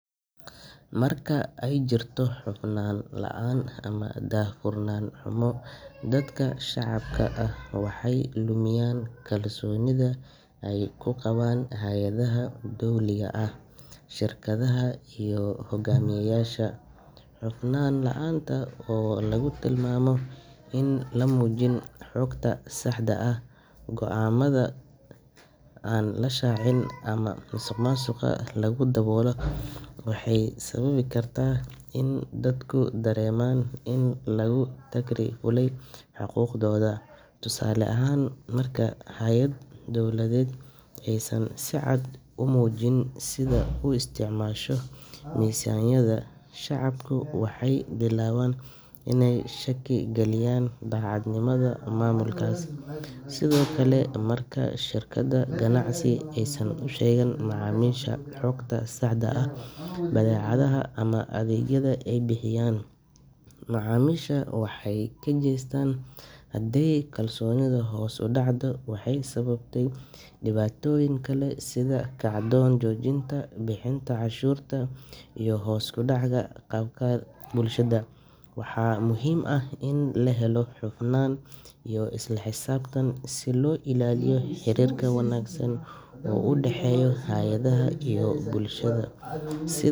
Marka aay jirto daah furnaan xumo, dadka waxeey lumiyaan kalsoonida, waxaa lagu tilmaama in lamujin xogta saxda ah, waxeey sababi karta in dadku dareeman xaq laan, shacabka waxeey bilaaban inaay shaki galiyaan, xogta saxda ah iyo macamiisha waxeey kajeestaan, bixinta cashuurta, waxaa muhiim ah in la helo hufnaan.